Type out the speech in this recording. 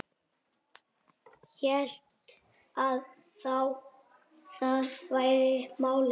Hélt að það væri málið.